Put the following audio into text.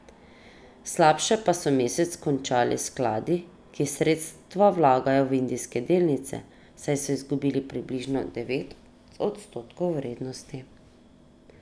Slabše pa so mesec končali skladi, ki sredstva vlagajo v indijske delnice, saj so izgubili približno devet odstotkov vrednosti.